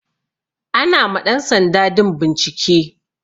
Ana ma ɗan sanda din bincike.